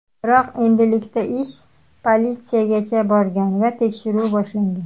Biroq endilikda ish politsiyagacha borgan va tekshiruv boshlangan.